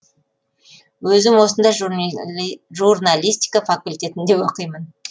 өзім осында журналистика факультетінде оқимын